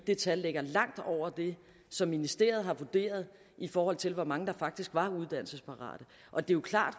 det tal ligger langt over det som ministeriet har vurderet i forhold til hvor mange der faktisk var uddannelsesparate og det er klart